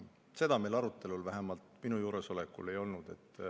Seda arutelu meil vähemalt minu juuresolekul ei olnud.